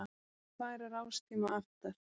Vill færa rástíma aftar